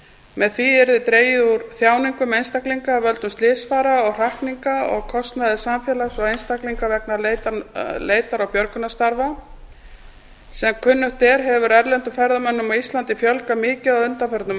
með því yrði dregið úr þjáningum einstaklinga af völdum slysfara og hrakninga og kostnaði samfélags og einstaklinga vegna leitar og björgunarstarfa sem kunnugt er hefur erlendum ferðamönnum á íslandi fjölgað mikið á undanförnum